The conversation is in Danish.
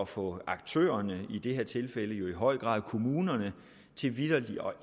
få aktørerne i det her tilfælde jo i høj grad kommunerne til vitterlig at